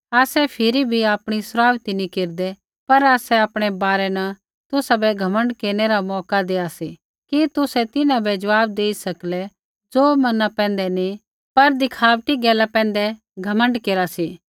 आसै फिरी भी आपणी सराउथी नी केरदै पर आसै आपणै बारै न तुसाबै घमण्ड केरनै रा मौका देया सी कि तुसै तिन्हां बै ज़वाब देई सकले ज़ो मना पैंधै नी पर दिखाबटी गैला पैंधै घमण्ड केरा सी